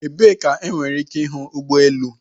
Ebee ka enwere ike ịhụ ụgbọ elu?